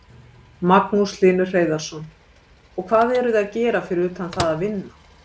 Magnús Hlynur Hreiðarsson: Og hvað eruð þið að gera fyrir utan það að vinna?